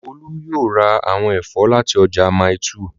Olú yóò ra àwọn ẹ̀fọ́ láti ọjà Mile 2